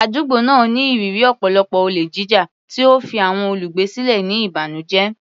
Àdúgbò náà ní ìrírí ọ̀pọ̀lọpọ̀ olè jíjà, tí ó fi àwọn olùgbé sílẹ̀ ní ìbànújẹ́.